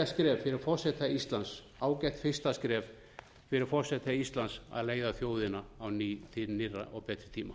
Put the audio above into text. fyrir forseta íslands ágætt fyrsta skref fyrir forseta íslands að leiða þjóðina á ný til nýrra og betri tíma